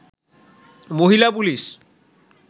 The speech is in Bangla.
মহিলা পুলিশ